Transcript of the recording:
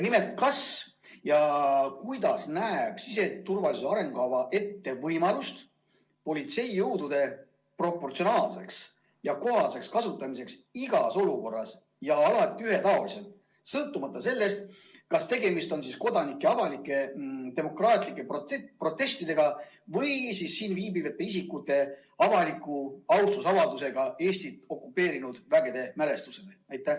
Kas ja kuidas näeb siseturvalisuse arengukava ette võimalust politseijõudude proportsionaalseks ja kohaseks kasutamiseks igas olukorras ja alati ühetaoliselt, sõltumata sellest, kas tegemist on kodanike avalike demokraatlike protestidega või siin viibivate isikute avaliku austusavaldusega Eestit okupeerinud vägede mälestusele?